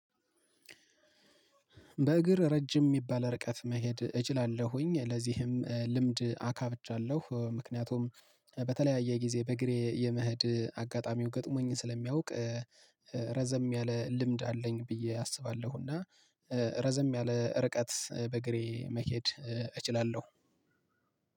በእግር ረጅም የሚባል ርቀት መሄድ እችላለሁኝ ለዚህም ልምድ አካብቻለሁ ምክንያቱም በተለያየ ጊዜ በእግሬ የመሄድ አጋጣሚው ገጥሞኝ ስለሚያውቅ ረዘም ያለ ልምድ አለኝ ብዬ አስባሁ። እና ረዘም ያለ ርቀት በእግሬ መሄድ እችላለሁ።